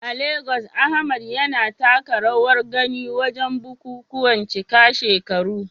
A Legas, Ahmad yana taka rawar gani wajen bukukuwan cika shekaru.